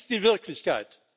Das ist die Wirklichkeit!